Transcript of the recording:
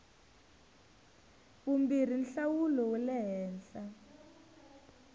vumbirhi nhlawulo wa le henhla